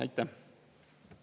Aitäh!